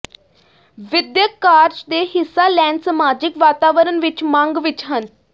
ਵਿਦਿਅਕ ਕਾਰਜ ਦੇ ਹਿੱਸਾ ਲੈਣ ਸਮਾਜਿਕ ਵਾਤਾਵਰਣ ਵਿੱਚ ਮੰਗ ਵਿੱਚ ਹਨ